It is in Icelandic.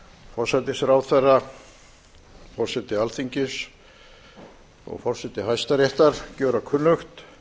forsætisráðherra forseti alþingis og forseti hæstaréttar gjöra kunnugt